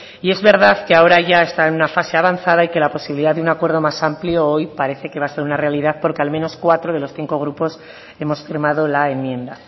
y es verdad que ahora ya está en una fase avanzada y que la posibilidad de un acuerdo más amplio hoy parece que va a ser una realidad porque al menos cuatro de los cinco grupos hemos firmado la enmienda